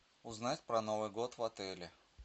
узнать про новый год в отеле